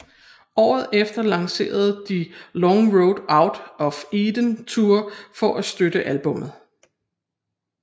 Året efter lancerede de Long Road Out of Eden Tour for at støtte albummet